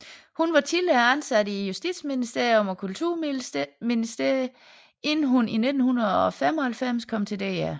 Hun var tidligere ansat i Justitsministeriet og Kulturministeriet inden hun i 1995 kom til DR